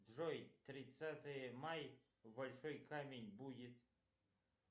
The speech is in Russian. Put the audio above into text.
джой тридцатое май большой камень будет